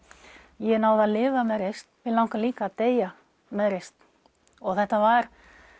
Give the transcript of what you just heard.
ég náði að lifa með reisn mig langar líka að deyja með reisn þetta var